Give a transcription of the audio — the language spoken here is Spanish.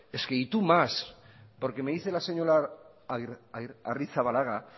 es que y tú más por que me dice la señora arrizabalaga